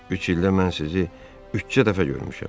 Üç ildə mən sizi üçcə dəfə görmüşəm.